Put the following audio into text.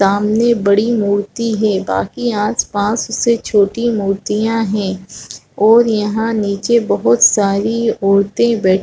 सामने बड़ी मूर्ती है बाकी आसपास उससे छोटी मूर्तियां हैं और यहां नीचे बहुत सारी औरते बैठ --